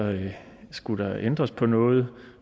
skulle ændres på noget